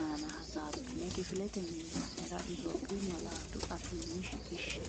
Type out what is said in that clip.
aana hasaabbine kifilete miilla’nera Itophiyu malaatu afiinni shiqishshe.